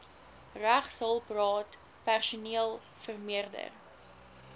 regshulpraad personeel vermeerder